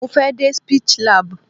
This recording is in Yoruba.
Mo fẹ́ dé Speech lab.